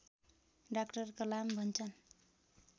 doctor Kalam भन्छन्